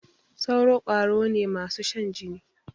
sauro kwaro ne masu Shan jini.